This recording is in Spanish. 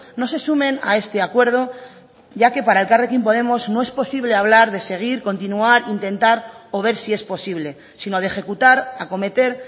no se sumen a este acuerdo ya que para elkarrekin podemos no es posible hablar de seguir continuar intentar o ver si es posible sino de ejecutar acometer